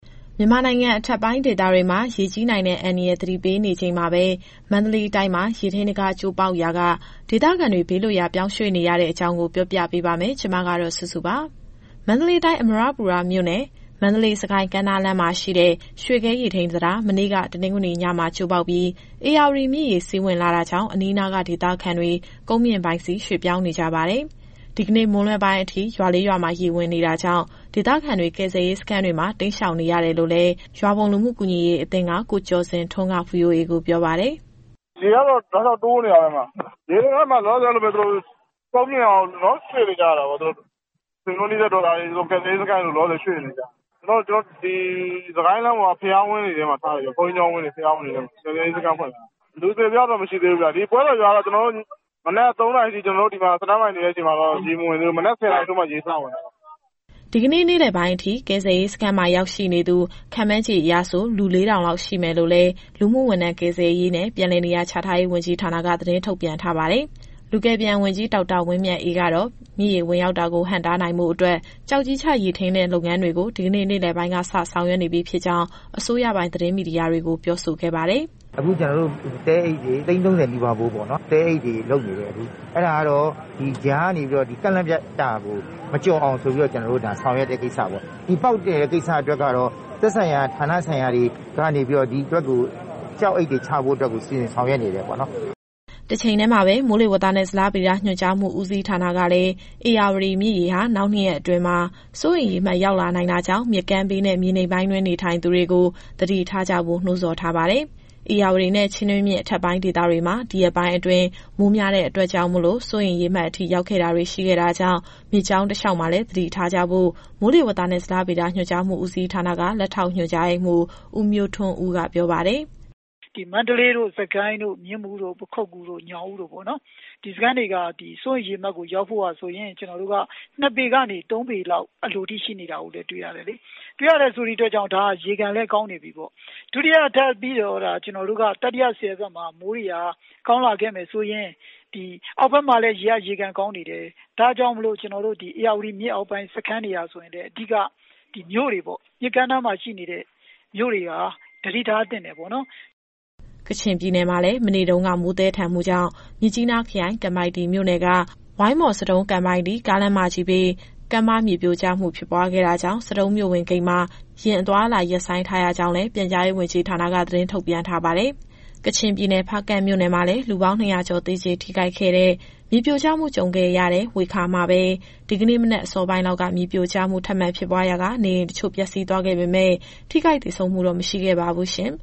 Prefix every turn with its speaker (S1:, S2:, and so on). S1: မြန်မာနိုင်ငံ အထက်ပိုင်းဒေသတွေမှာ ရေကြီးနိုင်တဲ့ အန္တရာယ် သတိပေးနေချိန်မှာပဲ မန္တလေးတိုင်းမှာ ရေထိန်းတံခါး ကျိုးပေါက်ရာက ဒေသခံတွေဘေးလွတ်ရာ ပြောင်းရွှေ့နေရတဲ့ အကြောင်း ဗွီအိုအေမြန်မာပိုင်း သတင်းထောက်စုစုက ပြောပြပါမယ်။ မန္တလေးတိုင်း၊ အမရပူရမြို့နယ်၊ မန္တလေး-စစ်ကိုင်း ကမ်းနားလမ်းမှာရှိတဲ့ ရွှေဂဲရေထိန်းတံခါး မနေ့က တနင်္ဂနွေညမှာ ကျိုးပေါက်ပြီး ဧရာဝတီမြစ်ရေ စီးဝင်လာတာကြောင့် အနီးအနားကဒေသခံတွေ ကုန်းမြင့်ပိုင်းဆီရွှေ့ပြောင်းနေကြပါတယ်။ ဒီကနေ့ မွန်းလွဲပိုင်းအထိ ရွာ ၄ ရွာမှာ ရေဝင်နေတာကြောင့် ဒေသခံတွေ ကယ်ဆယ်ရေးစခန်းတွေမှာ တိမ်းရှောင်နေရတယ်လို့လည်း ရွာဘုံလူမှုကူညီရေးအသင်းက ကိုကျော်ဇင်ထွန်းက VOA ကိုပြောပါတယ်။ “ရေကတော့ တောက်လျှောက်တိုးနေတာပဲ။ ရေဝင်လာတော့ သူတို့လောလောဆယ် ကုန်းမြင့်ရာကို ရွှေ့နေကြရတာပေါ့။ ဆွေမျိုးနီးစပ်တော်ရာဆီ၊ ကယ်ဆယ်ရေးစခန်းတွေဆီ လောလောဆယ်ရွှေ့နေကြတယ်။ ကျနော်တို့ ဒီစစ်ကိုင်းလမ်းပေါ်က ဘုရားဝင်းတွေ၊ ဘုန်းကြီးကျောင်းဝင်းတွေထဲမှာ ကယ်ဆယ်ရေးစခန်းဖွင့်ထားတယ်။ လူအသေအပျောက်တော့ မရှိဘူးဗျ။ ဒီပွဲတော်ရွာကတော့ မနက် ၃နာရီကတည်းက ကျနော်တို့ stand by နေတဲ့အချိန်မှာတော့ ရေမဝင်သေးဘူး။ မနက် ၁၀နာရီထိုးမှ ရေစဝင်တာပါ။” ဒီနေ့ နေ့လယ်ပိုင်းအထိ ကယ်ဆယ်ရေးစခန်းမှာ ရောက်ရှိနေသူ ခန့်မှန်းခြေ လူ ၄,၀၀၀ လောက်ရှိမယ်လို့လည်း လူမူဝန်ထမ်း ကယ်ဆယ်ရေးနဲ့ ပြန်လည်နေရာချထားရေး ဝန်ကြီးဌာနက သတင်းထုတ်ပြန်ထားပါတယ်။ လူကယ်ပြန်ဝန်ကြီး ဒေါက်တာဝင်းမြတ်အေး ကတော့ မြစ်ရေဝင်ရောက်တာကို ဟန့်တားနိုင်ဖို့အတွက် ကျောက်ကြီးချ ရေထိန်းတဲ့လုပ်ငန်းတွေကို ဒီကနေ့ နေ့လည်ပိုင်းကစ ဆောင်ရွက်နေပြီ ဖြစ်ကြောင်း အစိုးရပိုင်သတင်းမီဒီယာတွေကို ပြောဆိုခဲ့ပါတယ်။
S2: “အခု ကျနော်တို့ သဲအိတ်တွေ သိန်း သုံးဆယ် နီးပါးဖိုးပေါ့၊ သဲအိတ်တွေလုပ်နေတယ်။ အဲဒါကတော့ ဒီကြားကနေပြီးတော့ ကန့်လန့်ဖြတ်တာကို မကျော်အောင်ဆိုပြီးတော့ ဆောင်ရွက်တဲ့ကိစ္စပေါ့။ ပေါက်တည်တဲ့ကိစ္စအတွက်ကတော့ သက်ဆိုင်ရာဌာနဆိုင်ရာတွေကနေပြီးတော့ ဒီအတွက်ကို ကျောက်အိတ်တွေ ချဖို့အတွက် စီစဉ်ဆောင်ရွက်နေတယ်
S1: ပေါ့နော်။” တချိန်တည်းမှာပဲ မိုးလေဝသနဲ့ ဇလဗေဒညွှန်ကြားမှု ဦးစီးဌာနကလည်း ဧရာဝတီမြစ်ရေဟာ နောက်၂ ရက်အတွင်း စိုးရိမ်ရေမှတ် ရောက်လာနိုင်တာကြောင့် မြစ်ကမ်းဘေးနဲ့ မြေနိမ့်ပိုင်းတွင်း နေထိုင်သူတွေ သတိထားကြဖို့ နှိုးဆော်ထားပါတယ်။ ဧရာဝတီနဲ့ ချင်းတွင်းမြစ် အထက်ပိုင်းဒေသတွေမှာ ဒီရက်ပိုင်းအတွင်း မိုးများတဲ့အတွက် စိုးရိမ်ရေမှတ်အထိ ရောက်ခဲ့တာတွေ ရှိခဲ့တာကြောင့် မြစ်ကြောင်းတလျှောက်မှာလည်း သတိထားကြဖို့ မိုးလေဝသနဲ့ ဇလဗေဒညွှန်ကြားမှု ဦးစီးဌာန လက်ထောက်ညွှန်ကြားရေးမှူး ဦးမျိုးထွန်းဦးက ပြောပါတယ်။
S2: “မန္တလေး၊ စစ်ကိုင်း၊ မြင်းမူ၊ ပခုက္ကူ၊ ညောင်ဦးတို့ ဒီစခန်းတွေက စိုးရိမ်ရေမှတ်ကို ရောက်ဖို့ရာဆိုရင် ၂ပေကနေ ၃ပေလောက်အလိုအထိ ရှိနေတာကိုတွေ့ရတယ်။ တွေ့ရတဲ့အတွက်ကြောင့် ဒါကရေခံလည်းကောင်းနေပြီပေါ့။ ဒုတိယထပ်ပြီးတော့သာ တတိယဆည်ဘက်မှာ မိုးတွေက ကောင်းလာခဲ့မယ်ဆိုရင် အောက်ဘက်မှာလည်း ရေကရေခံကောင်းနေတယ်။ ဒါကြောင့်မို့ ဧရာဝတီမြစ်အောက်ပိုင်း စခန်းတွေကဆိုရင်လည်း အဓိက ဒီမြို့တွေပေါ့။ မြစ်ကမ်းနားမှာရှိနေတဲ့ မြို့တွေဟာ သတိထားသင့်တယ်ပေါ့နော်။”
S1: ကချင်ပြည်နယ်မှာလည်း မနေ့တုန်းက မိုးသည်းထန်မှုကြောင့် မြစ်ကြီးနားခရိုင်၊ ကန်ပိုက်တီမြို့နယ်က ဝိုင်းမော်-ဆဒုံး-ကန်ပိုက်တီ ကားလမ်းမကြီးဘေး ကမ်းပါးမြေပြိုကျမှုဖြစ်ပွားခဲ့တာကြောင့် ဆဒုံးမြို့ဝင်ဂိတ်မှာ ယာဉ်အသွားအလာ ရပ်ဆိုင်းထားရကြောင်းလည်း ပြန်ကြားရေး ဝန်ကြီးဌာနက သတင်းထုတ်ပြန်ထားပါတယ်။ ကချင်ပြည်နယ်၊ ဖားကန့်မြို့နယ်မှာလည်း လူပေါင်း ၂၀၀ ကျော် သေကြေထိခိုက်ခဲ့တဲ့ မြေပြိုကျမှု ကြုံခဲ့ရတဲ့ ဝှေခါမှာပဲ ဒီကနေ့မနက်အစောပိုင်းလောက်က မြေပြိုကျမှု ထပ်မံဖြစ်ပွားရာက အိမ်တချို့ ပျက်စီးသွားခဲ့ပေမဲ့ ထိခိုက်သေဆုံးမှုတော့ မရှိခဲ့ပါဘူးရှင်